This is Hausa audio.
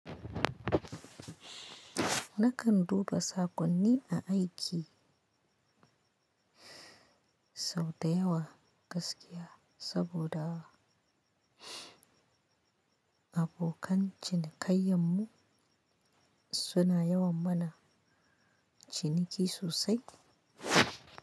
Nakan duba saƙonni a aiki sau da yawa gaskiya saboda abokan cinikayyanmu suna yawan mana ciniki sosai.